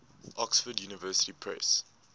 oxford university press